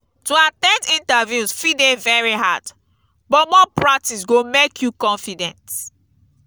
to at ten d interviews fit dey very hard but more practice go make you confident.